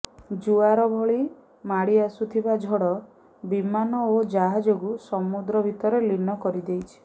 ଜୁଆର ଭଳି ମାଡ଼ି ଆସୁଥିବା ଝଡ଼ ବିମାନ ଓ ଜାହାଜକୁ ସମୁଦ୍ର ଭିତରେ ଲୀନ କରି ଦେଇଛି